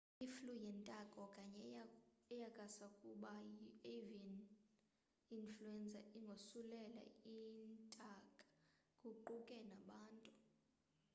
iflu yentaka okanye eyakusakuba yi avian ifluenza ingosulela intake kuquka nabantu